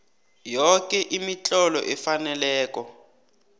yoke imitlolo efaneleko